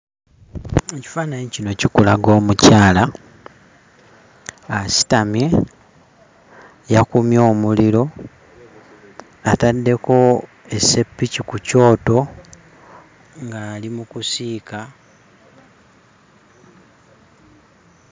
Ekifaananyi kino kikulaga omukyala asitamye, yakumye omuliro, ataddeko esseppiki ku kyoto ng'ali mu kusiika...